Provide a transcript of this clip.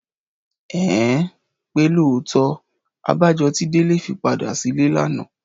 Ẹ̀hẹ́n! Pé lóòótọ́! Abájọ tí Délé fi padà sílé lánàá.